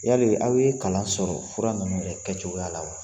Yali aw ye kalan sɔrɔ fura ninnu kɛcogoya la wa?